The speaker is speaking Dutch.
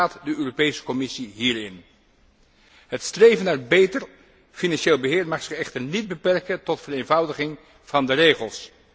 Hoe staat de Europese Commissie hierin? Het streven naar beter financieel beheer mag zich echter niet beperken tot vereenvoudiging van de regels.